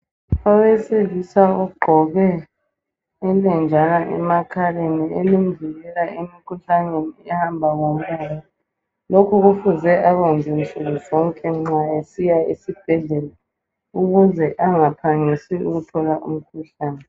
Owesilisa ogqoke ilenjana emakhaleni elimvikela emikhuhlaneni ehamba ngo moya. Lokhu kufuze akwenze nsuku zonke nxa esiya esibhedlela ukuze angahangisi ukuthola umkhuhlane.